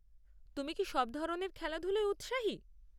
তুমি কি সব ধরনের খেলেধুলোয় উৎসাহী?